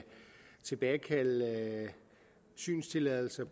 tilbagekalde synstilladelser